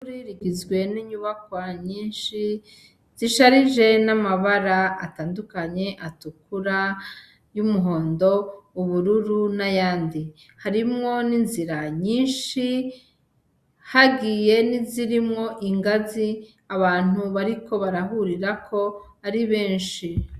Ishuri rigizwen'inyubakwa nyinshi zisharije n'amabara atandukanye, atukura, y'umuhondo, ubururu n'ayandi. Harimwo n'inzira nyinshi hagiye n'izirimwo ingazi abantu bariko barahurirako ari benshi.